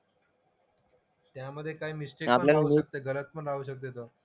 त्यामधे काय मिस्टेक पण होऊ शकते गलत पण राहू शकते तर.